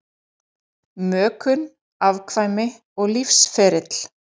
Mökun, afkvæmi og lífsferill